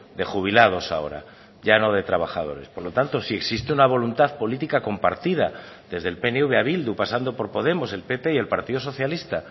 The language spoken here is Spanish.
de jubilados ahora ya no de trabajadores por lo tanto si existe una voluntad política compartida desde el pnv a bildu pasando por podemos el pp y el partido socialista